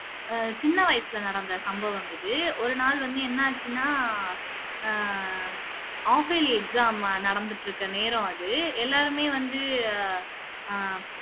சின்ன வயசுல நடந்த சம்பவம் இது ஒருநாள் வந்து என்ன ஆச்சுன்னா அஹ் half yearly exam நடந்துட்டு இருக்க நேரம் அது எல்லாருமே வந்து ஆஹ்